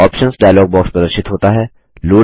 options dialog box प्रदर्शित होता है